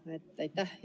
Suur tänu!